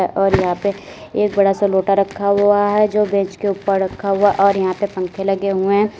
और यहां पे एक बड़ा सा लोटा रखा हुआ है जो बेंच के उपर रखा हुआ है और यहां पे पंखे लगे हुए हैं।